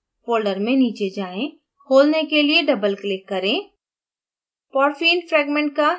macrocycles folder में नीचे जाए; खोलने के लिए double click करें